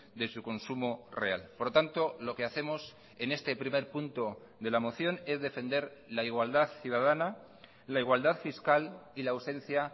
de su consumo real por lo tanto lo que hacemos en este primer punto de la moción es defender la igualdad ciudadana la igualdad fiscal y la ausencia